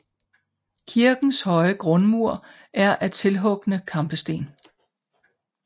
Kirkens høje grundmur er af tilhugne kampesten